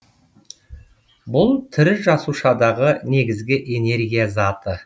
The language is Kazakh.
бұл тірі жасушадағы негізгі энергия заты